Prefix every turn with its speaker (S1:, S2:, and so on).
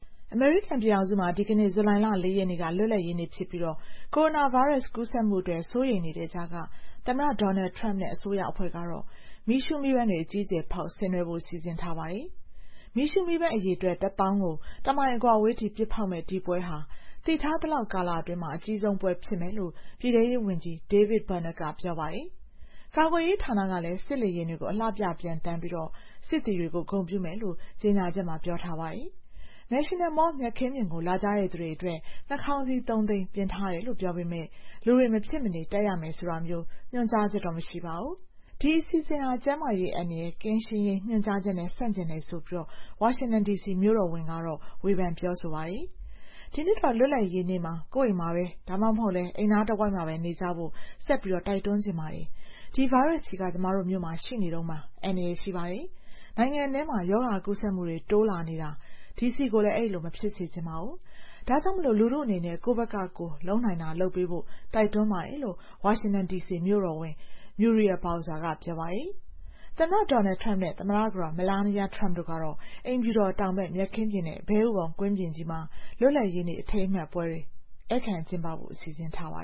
S1: အမေရိကန်ပြည်ထောင်စုမှာ ဒီကနေ့ ဇူလိုင်လ ၄ ရက်နေ့က လွတ်လပ်ရေးနေ့ ဖြစ်ပြီး ကိုရိုနာဗိုင်းရပ်စ် ကူးစက်မှုအတွက် စိုးရိမ်နေကြတဲ့ကြားက သမ္မတ Donald Trump နဲ့ အစိုးရအဖွဲ့ကတော့ မီးရှူးမီးပန်းတွေ အကြီးအကျယ်ဖောက် ဆင်နွှဲဖို့ စီစဉ်ထားပါတယ်။ မီးရှူုးမီးပန်းအရေအတွက် ၁၀,၀၀၀ ကို တမိုင်အကွာအဝေးထိ ပစ်ဖောက်မယ့် ဒီပွဲဟာ သိထားသလောက်ကာလအတွင်း အကြီးဆုံးပွဲဖြစ်မယ်လို့ ပြည်ထဲရေးဝန်ကြီး David Bernhardt က ပြောပါတယ်။ ကာကွယ်ရေးဌာနကလည်း စစ်လေယာဉ်တွေ အလှပြပျံသန်းပြီး စစ်သည်တွေကို ဂုဏ်ပြုမယ်လို့ ကြေညာချက်မှာ ပြောထားပါတယ်။ National Mall မြက်ခင်းပြင်ကို လာကြသူတွေအတွက် နှာခေါင်းစည်း ၃၀၀,၀၀၀ ပြင်ဆင်ထားတယ်လို့ ပြောပေမယ့် လူတွေ မဖြစ်မနေ တပ်ရမယ်ဆိုတာမျိုး ညွှန်ကြားချက်တော့ မရှိပါဘူး။ ဒီအစီအစဉ်ဟာ ကျန်းမာရေးအန္တရာယ် ကင်းရှင်းရေး ညွှန်ကြားချက်နဲ့ ဆန့်ကျင်တယ်ဆိုပြီး ဝါရှင်တန်ဒီစီ မြို့တော်ဝန်ကတော့ ဝေဖန်ပြောဆိုပါတယ်။ "ဒီနှစ်တော့ လွတ်လပ်ရေးနေ့မှာ ကိုယ့်အိမ်မှာပဲ ဒါမှမဟုတ် အိမ်နားတဝိုက်မှာပဲ နေကြဖို့ ဆက်တိုက်တွန်းချင်ပါတယ်။ ဒီဗိုင်းရပ်စ်ကြီးက ကျမတို့မြို့မှာ ရှိနေတုန်းပါ။ အန္တရာယ်ရှိပါတယ်။ နိုင်ငံထဲမှာ ရောဂါကူးစက်မှုတွေ တိုးလာနေတာ ဒီစီကိုလည်း အဲဒီလို မဖြစ်စေချင်ပါဘူး။ ဒါ့ကြောင့် လူထုအနေနဲ့ ကိုယ့်ဘက်ကလုပ်နိုင်တာ လုပ်ပေးဖို့ တိုက်တွန်းပါတယ်" လို့ ဝါရှင်တန်ဒီစီမြို့တော်ဝန် Muriel Bowser က ပြောပါတယ်။ သမ္မတ Donald Trump နဲ့ သမ္မတကတော် Melania Trump တို့ကတော့ အိမ်ဖြူတော်တောင်ဘက် မြက်ခင်းပြင်နဲ့ ဘဲဥပုံ ကွင်းပြင်ကြီးမှာ လွတ်လပ်ရေးနေ့ အထိမ်းအမှတ်ပွဲတွေ ဧည့်ခံကျင်းပဖို့ စီစဉ်ထားပါ